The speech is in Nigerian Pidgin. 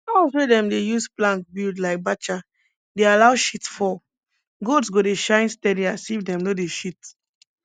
house wey dem dey use plank build like bacha dey allow shit fall goats go dey shine steady as if dem no dey shit